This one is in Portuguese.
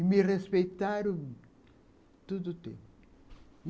E me respeitaram tudo tudo.